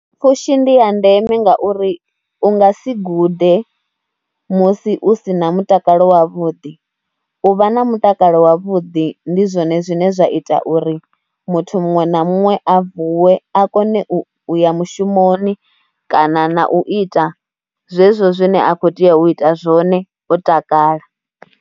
Pfhushi ndi ya ndeme ngauri u nga si gude musi u si na mutakalo wavhuḓi. U vha na mutakalo wavhuḓi ndi zwone zwine zwa ita uri muthu muṅwe na muṅwe a vuwe a kone u ya mushumoni kana na u ita zwezwo zwine a khou tea u ita zwone o takala.